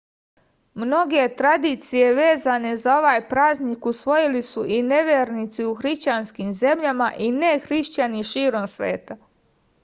mnoge tradicije vezane za ovaj praznik usvojili su i nevernici u hrišćanskim zemljama i nehrišćani širom sveta